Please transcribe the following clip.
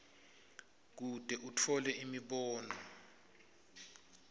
kute atfole imibono